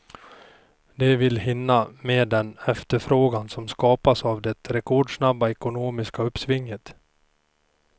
De vill hinna med den efterfrågan som skapas av det rekordsnabba ekonomiska uppsvinget.